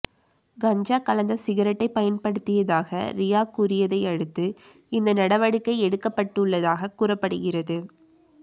கஞ்சா கலந்த சிகரெட்டைப் பயன்படுத்தியாக ரியா கூறியதையடுத்து இந்த நடவடிக்கை எடுக்கப்பட்டுள்ளதாகக் கூறப்படுகிறது